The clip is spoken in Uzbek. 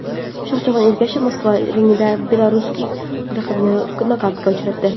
Shohjahon Ergashev Moskva ringida belaruslik raqibini nokautga uchratdi.